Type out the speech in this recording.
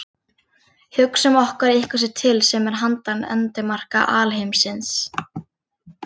Hugsum okkur að eitthvað sé til sem er handan endimarka alheimsins.